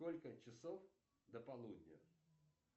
сколько часов до полудня